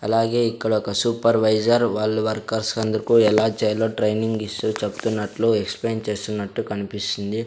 అలాగే ఇక్కడొక సూపర్వైజర్ వాళ్లు వర్కర్స్ అందుకు ఎలా చేయాలో ట్రైనింగ్ ఇస్తూ చెప్తున్నట్లు ఎక్స్ప్లెయిన్ చేస్తున్నట్టు కన్పిస్తుంది.